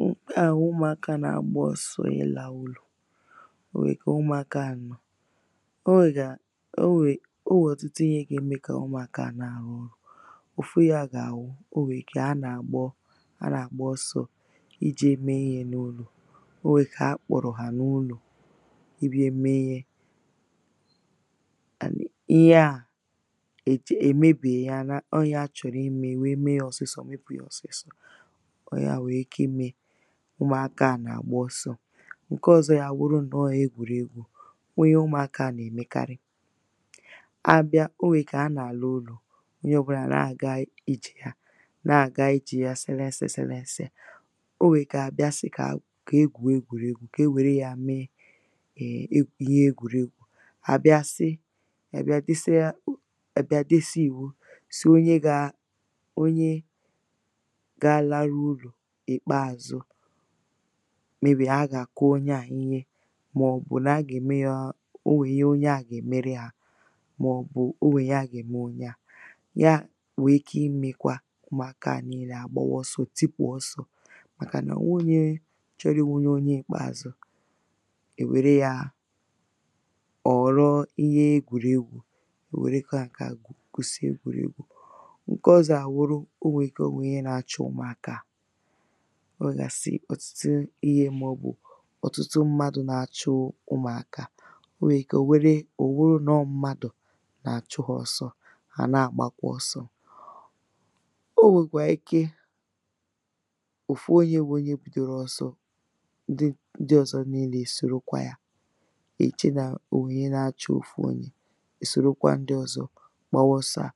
Nke à bù umùakȧ nȧ-ȧgba ọ̀sọ̀ i la ulọ̀. o nwè ike umùakȧ a nọ̀, o nwè ga, o nwèrè, o nwèrè ọ̀tutu ihe ga-eme kà umùakȧ na à hù.. ofu ya gàà wù, o nwè ike ha nȧ-ȧgba, ha nȧ-ȧgba ọsọ̀ i je me ihe nà ulọ̀. o nwè ike a kpọ̀rọ̀ hà nà ulọ,̀ i biȧ mee ihe. À nà, Ihe à è mebėya, ọ nye achọ̀rọ̀ i me, wee mee ya ọ̀sịsọ̇, mepu̇ yȧ ọ̀sịsọ̇.ọ̀ ya nwèrè ike ime ụmụ̀aka à nà-àgba ọsọ̇. Nke ọ̀zọ yȧ wụrụ ǹnọọ̇ egwùregwu;̇O nwèrè ihe ụmụ̀aka à nà-èmekarị, a bịa, o nwèrè ike a nà-àlà ụlọ̀, onye ọ̀ bụlà na-àga ije ya, na-àga ije ya sẹlẹsẹ sẹlẹsẹ. O nwèrè ike à à bịa si kà e gwù egwùregwu,̇ kà e wère yȧ meè [um]ihe egwùregwu,̇ à bịa si, a bịa desia u, a bịa desia ìwu si onye gȧ, onye ga laru ulọ̀ ikpeazu, meybè a gà-àkụ onye à ihe, màọ̀bụ̀ nà a gà-ème yȧ, onwè ihe onye à gà-èmere hà, màọ̀bụ̀ onwè ihe a gà-ème onye à. Ya nwè ike imė kwa umùakȧ niilė à gbawa ọsọ̇, tipù ọsọ̇ màkà nà o weghi chọrọ i wu̇ onye ikpeàzụ̇, è wère yȧ, ọ̀ ghọ̀rọ ihe egwùregwu.̇ E wèrekwa ǹkè a kwùsì egwu̇regwu.̇ Nkè ọ̀zọ à wuru, o nwè ike e nwèrè ihe nȧ-achu umùakȧ à. O wèè ̀ gà-àsị ọ̀tutu ihe, mà ọ̀ bụ̀ ọ̀tụtụ mmadu̇ nà-achụ ụmụ̀akȧ a. O nwèrè ike, o nwèrè, ò wuru nà ọ̀ mmadù nà-àchụ hȧ ọ̇sọ,̇ hà nà-àgbakwa ọ̇sọ.̇ O nwèkwà ike òfu onyė wụ onye bidòrò ̇ ọ̇sọ̇ di ǹdi ọ̀zọ niilė esòrokwa yȧ. I che nà ò nwèe ihe na-achụ̇ òfu onyė, i sòrokwa ndi ọ̀zọ gbawa ọsọ à.